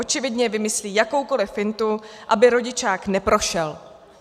Očividně vymyslí jakoukoli fintu, aby rodičák neprošel.